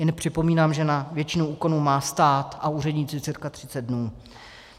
Jen připomínám, že na většinu úkonů má stát a úředníci cca 30 dnů.